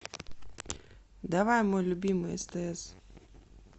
давай мой любимый стс